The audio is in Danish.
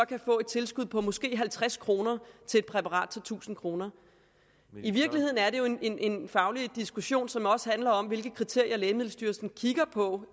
kan få tilskud på måske halvtreds kroner til et præparat der tusind kroner i virkeligheden er det jo en faglig diskussion som også handler om hvilke kriterier lægemiddelstyrelsen kigger på